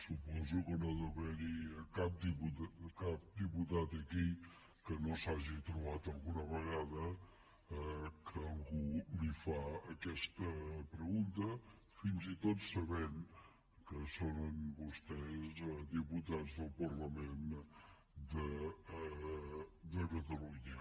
suposo que no deu haver hi cap diputat aquí que no s’hagi trobat alguna vegada que algú li fa aquesta pregunta fins i tot sabent que són vostès diputats del parlament de catalunya